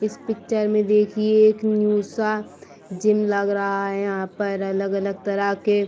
इस पिक्चर में देखिए एक न्यू सा जिम लग रहा है। यहाँ पर अलग-अलग तरह के --